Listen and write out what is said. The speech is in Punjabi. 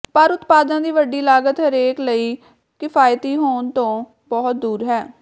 ਪਰ ਉਤਪਾਦਾਂ ਦੀ ਵੱਡੀ ਲਾਗਤ ਹਰੇਕ ਲਈ ਕਿਫਾਇਤੀ ਹੋਣ ਤੋਂ ਬਹੁਤ ਦੂਰ ਹੈ